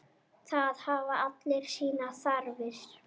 Það hafa allir sínar þarfir.